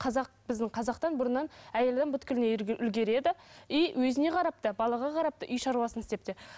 қазақ біздің қазақтан бұрыннан әйел адам үлгереді и өзіне қарап та балаға қарап та үй шаруасын істеп те